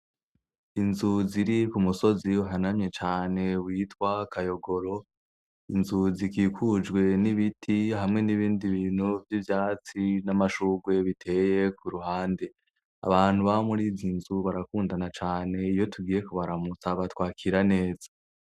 Inzuziri ku musozi hanamye cane witwa akayogoro inzuzi ikikujwe n'ibiti hamwe n'ibindi bintu vy'ivyatsi n'amashugwe biteye ku ruhande abantu ba muri zi nzu barakundana cane iyo tugiye ku baramusaba twakira neza.